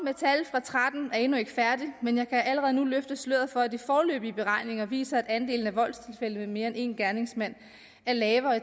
og tretten er endnu ikke færdig men jeg kan allerede nu løfte sløret for at de foreløbige beregninger viser at andelen af voldstilfælde med mere end én gerningsmand er lavere i